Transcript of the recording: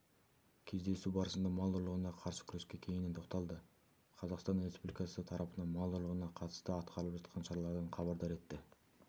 кездесу барысында мал ұрлығына қарсы күреске кеңінен тоқталды қазақстан республикасы тарапынан мал ұрлығына қатысты атқарылып жатқан шаралардан хабардар етті